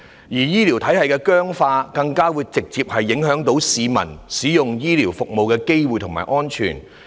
醫療體系的僵化，更直接影響市民使用醫療服務的機會和安全性。